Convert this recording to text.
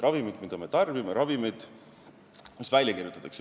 Ravimid, mida me tarbime ja mis meile välja kirjutatakse.